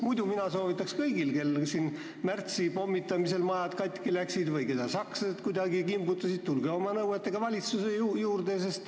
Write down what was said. Muidu mina soovitaks kõigil, kellel märtsipommitamise ajal maja katki läks või keda sakslased kuidagi kimbutasid, et tulge oma nõuetega valitsusse.